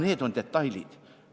Aga need on detailid.